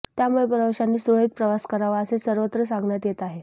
त्यामुळे प्रवाशांनी सुरळीत प्रवास करावा असे सर्वत्र सांगण्यात येत आहे